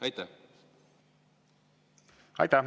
Aitäh!